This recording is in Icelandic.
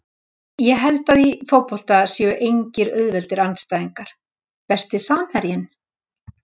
Ég held að í fótbolta séu engir auðveldir andstæðingar Besti samherjinn?